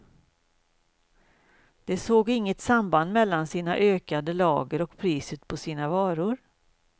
De såg inget samband mellan sina ökande lager och priset på sina varor.